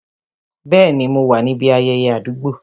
Bẹẹni, mo wá níbi ayẹyẹ àdúgbò